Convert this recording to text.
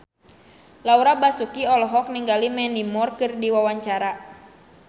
Laura Basuki olohok ningali Mandy Moore keur diwawancara